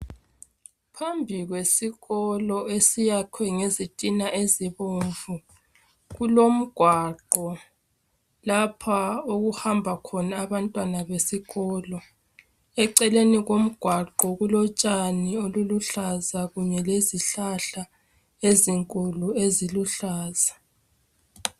Phambi kwesikolo esiyakhwe ngezitina ezibomvu kulomgwaqo lapho okuhamba khona abantwana besikolo eceleni komgwaqo kulotshani oluluhlaza kunye lezihlala ezinkulu eziluhlaza.